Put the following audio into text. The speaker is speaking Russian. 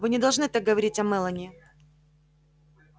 вы не должны так говорить о мелани